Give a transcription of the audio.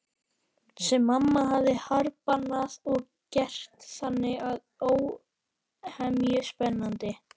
Sem mamma hafði harðbannað og gert þannig óhemju spennandi.